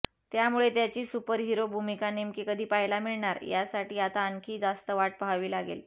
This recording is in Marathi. त्यामुळे त्याची सुपरहिरो भूमिका नेमकी कधी पाहायला मिळणार यासाठी आता आणखी जास्त वाट पाहावी लागेल